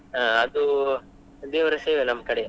ಅಹ್ ಅದು ದೇವರ ಸೇವೆ ನಮ್ ಕಡೆಯಿಂದ.